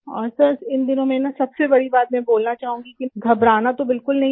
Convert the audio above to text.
और सर इन दिनों में ना सबसे बड़ी बात में बोलना चाहूंगी घबराना तो बिलकुल नहीं है